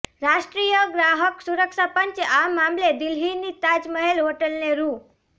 રાષ્ટ્રીય ગ્રાહક સુરક્ષા પંચે આ મામલે દિલ્હીની તાજ મહેલ હોટલને રૂ